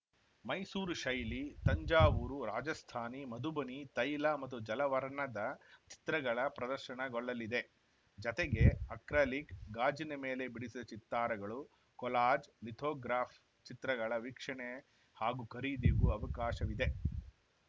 ಮೈಸೂರು ಶೈಲಿ ತಂಜಾವೂರು ರಾಜಸ್ಥಾನಿ ಮಧುಬನಿ ತೈಲ ಮತ್ತು ಜಲವರ್ಣದ ಚಿತ್ರಗಳ ಪ್ರದರ್ಶನಗೊಳ್ಳಲಿದೆ ಜತೆಗೆ ಅಕ್ರಾಲಿಕ್‌ ಗಾಜಿನ ಮೇಲೆ ಬಿಡಿಸಿದ ಚಿತ್ತಾರಗಳು ಕೊಲಾಜ್‌ ಲಿಥೋಗ್ರಾಫ್‌ ಚಿತ್ರಗಳ ವೀಕ್ಷಣೆ ಹಾಗೂ ಖರೀದಿಗೂ ಅವಕಾಶವಿದೆ